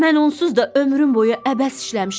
Mən onsuz da ömrüm boyu əbəs işləmişəm.